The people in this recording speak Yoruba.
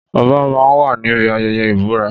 Ọba máa ń wà níbi ayẹyẹ ìbúra.